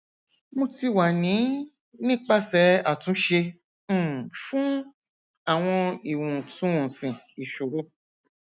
mo ti wa ni nipasẹ atunṣe um fun awọn iwontunwonsi isoro